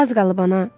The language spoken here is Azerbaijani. Az qalıb ana.